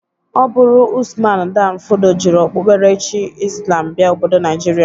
Ọ bụrụ Ụsman dan fodo jiri okpukperechi islam bịa obodo Naijịrịa.